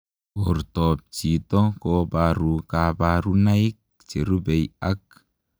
Portoop chitoo kobaruu kabarunaik cherubei ak